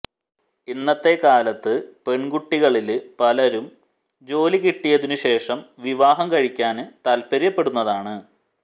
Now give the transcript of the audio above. ഇന്നത്തെ കാലത്ത് പെണ്കുട്ടികളില് പലരും ജോലി കിട്ടിയതിനു ശേഷം വിവാഹം കഴിക്കാന് താല്പ്പര്യപ്പെടുന്നതാണ്